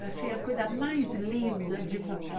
Eu achei a coisa mais linda de buquê.